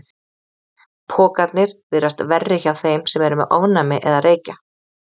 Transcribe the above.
Pokarnir virðast verri hjá þeim sem eru með ofnæmi eða reykja.